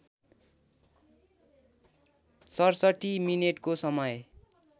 ६७ मिनेटको समय